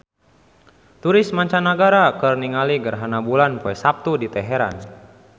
Turis mancanagara keur ningali gerhana bulan poe Saptu di Teheran